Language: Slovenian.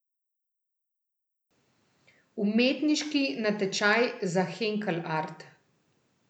Umetniški natečaj za Henkel Art.